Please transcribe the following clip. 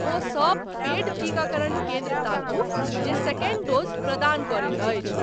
ओ सब पेड टीकाकरण केन्द्र ताकू जे सेकंड डोज़ प्रदान करैत अछि।